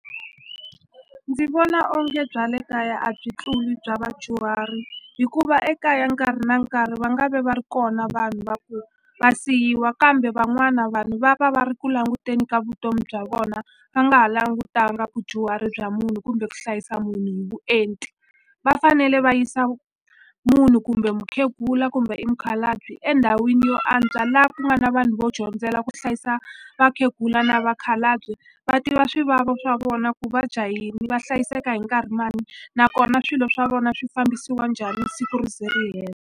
Ndzi vona onge bya le kaya a byi tluli bya vadyuhari hikuva ekaya nkarhi na nkarhi va nga ve va ri kona vanhu va ku va siyiwa kambe van'wana vanhu va va va ri ku languteni ka vutomi bya vona va nga ha langutanga vudyuhari bya munhu kumbe ku hlayisa munhu hi vuenti va fanele va yisa munhu kumbe mukhegula kumbe i mikhalabye endhawini yo antswa la ku nga na vanhu vo dyondzela ku hlayisa vakhegula na vakhalabye va tiva swivavo swa vona ku va dya yini va hlayiseka hi nkarhi mani nakona swilo swa vona swi fambisiwa njhani siku ri ze ri hela.